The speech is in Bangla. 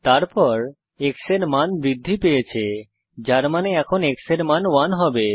তারপর x এর মান বৃদ্ধি পেয়েছে যার মানে এখন x এর মান 1 হবে